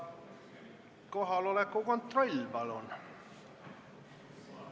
Kohaloleku kontroll, palun!